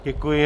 Děkuji.